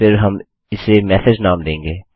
फिर हम इसे मेसेज नाम देंगे